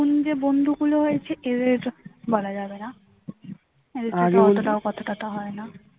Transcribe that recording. নতুন যে বন্ধু গুলো হয়েছে এদের সাথে বলা যাবে না এদের সাথে অতটাও কথা টথা হয়না